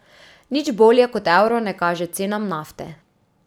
Nič bolje kot evru ne kaže cenam nafte.